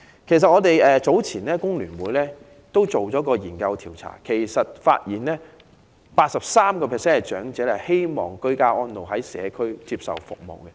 工聯會早前曾經進行調查，發現 83% 長者希望居家安老，在社區接受長者服務。